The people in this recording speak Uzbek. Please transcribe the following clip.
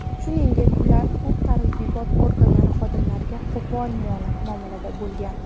Shuningdek ular huquq-tartibot organlari xodimlariga qo‘pol muomalada bo‘lgan.